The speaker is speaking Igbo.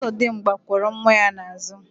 Ọzọdimgba kwọrọ nwa ya n'àzụ̀.